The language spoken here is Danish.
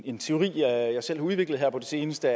en teori jeg selv har udviklet her på det seneste